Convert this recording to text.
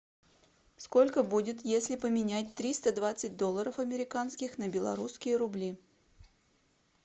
сколько будет если поменять триста двадцать долларов американских на белорусские рубли